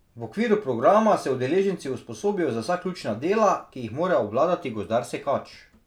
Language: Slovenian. V okviru programa se udeleženci usposobijo za vsa ključna dela, ki jih mora obvladati gozdar sekač.